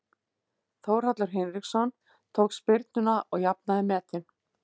Þórhallur Hinriksson tók spyrnuna og jafnaði metin.